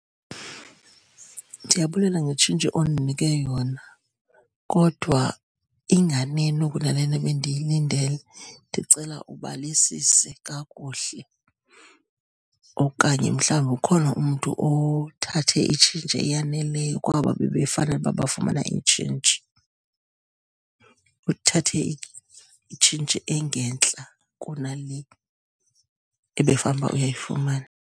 Ndiyabulela ngetshintshi ondinike yona kodwa inganeno kunalena bendiyilindele, ndicela ubalisile kakuhle. Okanye mhlawumbi ukhona umntu othathe itshintshi eyaneleyo kwaba bebefanele uba bafumana itshintshi, uthathe itshintshi engentla kunale ebefanuba uyayifumana.